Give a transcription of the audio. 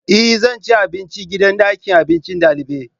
E! Zan ci abinci a gidan abincin dalibai.